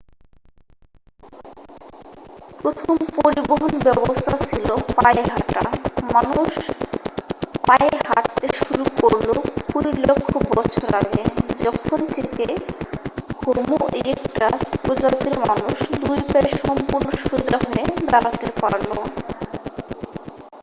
প্রথম পরিবহন ব্যবস্থা ছিল পায়ে হাঁটা মানুষ পায়ে হাঁটতে শুরু করল কুড়ি লক্ষ বছর আগে যখন থেকে হোমো ইরেকটাস প্রজাতির মানুষ দুই পায়ে সম্পূর্ণ সোজা হয়ে দাঁড়াতে পারল